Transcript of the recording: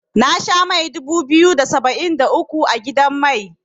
Na sha mai dubu biyu da saba'in da uku a gidan mai.